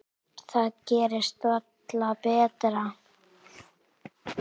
Það gerist varla betra.